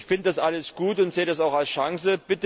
Ich finde das alles gut und sehe dies auch als Chance.